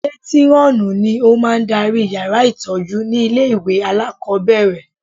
Mátírọ́ọ̀nù ni ó máa ń darí yàrá ìtọ́jú ní ilé ìwé alákọ̀ọ́bẹ̀rẹ̀